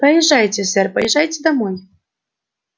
поезжайте сэр поезжайте домой